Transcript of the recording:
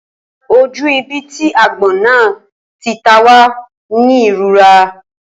Ojú ibi tí agbón náà tí tá wá ní ìrora.